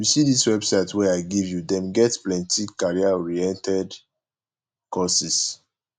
you see dis website wey i give you them get plenty careeroriented courses